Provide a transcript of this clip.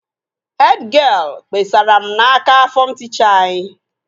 Hed gịel kpesara m n'aka fọm tịchaa anyị